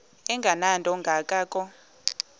engenanto kanga ko